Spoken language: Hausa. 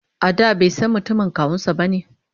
a da baisan mutumin kawunsa bane?